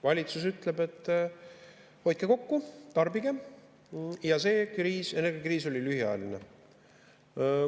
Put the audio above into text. Valitsus ütleb, et hoidke kokku, tarbige, see energiakriis on lühiajaline.